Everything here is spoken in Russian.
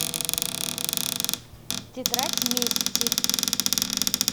тетрадь мести